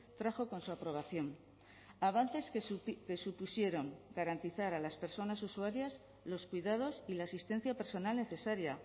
trajo con su aprobación avances que supusieron garantizar a las personas usuarias los cuidados y la asistencia personal necesaria